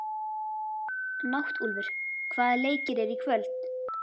Náttúlfur, hvaða leikir eru í kvöld?